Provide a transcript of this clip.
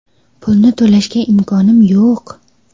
Pulni to‘lashga imkonim yo‘q.